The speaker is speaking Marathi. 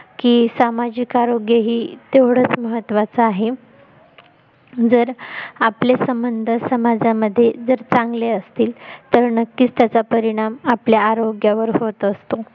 की सामाजिक आरोग्य हे तेवढच महत्वाचं आहे जर आपले संबंध समाजामध्ये जर चांगले असतील तर नक्कीच त्याचा परिणाम आपल्या आरोग्यावर होत असतो